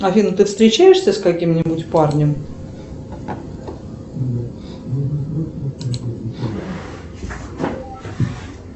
афина ты встречаешься с каким нибудь парнем